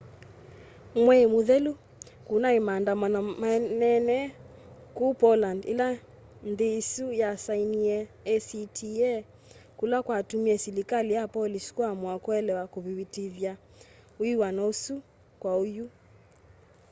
mwei muthelu kunai maandamano manene kuu poland ila nthi isu yasainiie acta kula kwatumie silikali ya polish kuamua kulea kuvitithya wiw'ano usu kwa oyu